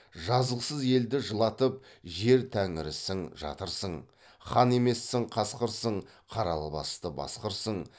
жазықсыз елді жылатып жер тәңірісің жатырсың хан емессің қасқырсың қара албасты басқырсың